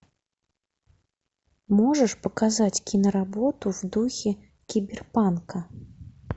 можешь показать киноработу в духе киберпанка